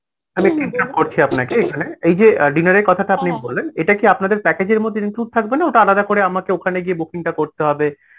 আমি interrupt করছি আপনাকে এই যে dinner এর কথাটা আপনি বললেন এটা কি আপনাদের package এর মধ্যে include থাকবে না, ওটা আলাদা করে আমাকে ওখানে গিয়ে booking টা করতে হবে